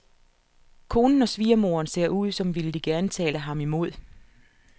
Konen og svigermoderen ser ud, som ville de gerne tale ham imod.